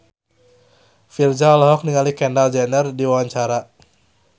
Virzha olohok ningali Kendall Jenner keur diwawancara